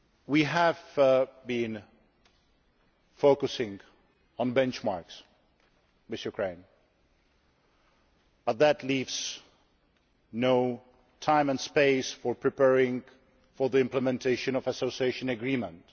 We have been focusing on benchmarks with Ukraine, but that leaves no time and space for preparing for the implementation of an association agreement.